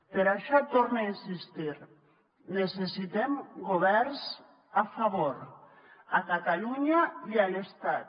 per això torne a insistir hi necessitem governs a favor a catalunya i a l’estat